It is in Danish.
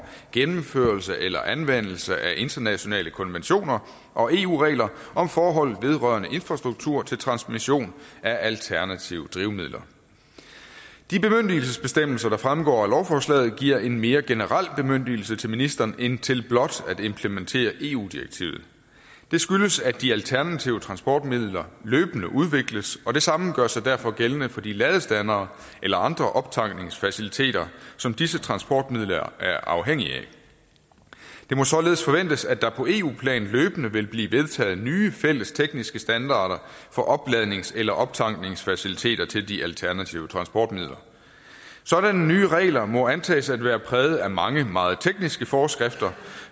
gennemførelse eller anvendelse af internationale konventioner og eu regler om forhold vedrørende infrastruktur til transmission af alternative drivmidler de bemyndigelsesbestemmelser der fremgår af lovforslaget giver en mere generel bemyndigelse til ministeren end til blot at implementere eu direktivet det skyldes at de alternative transportmidler løbende udvikles og det samme gør sig derfor gældende for de ladestandere eller andre optankningsfaciliteter som disse transportmidler er afhængige af det må således forventes at der på eu plan løbende vil blive vedtaget nye fælles tekniske standarder for opladnings eller optankningsfaciliteter til de alternative transportmidler sådanne nye regler må antages at være præget af mange meget tekniske forskrifter